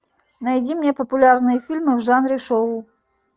найди мне популярные фильмы в жанре шоу